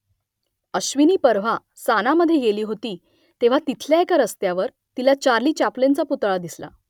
अश्विनी परवा सानामध्ये गेली होती तेव्हा तिथल्या एका रस्त्यावर तिला चार्ली चॅप्लिनचा पुतळा दिसला